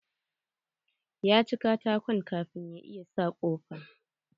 Ya ci katakon kafin ya iya sa kofan.